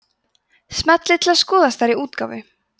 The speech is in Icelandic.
smellið til að skoða stærri útgáfu